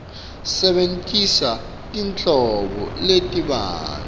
sebentisa tinhlobo letibanti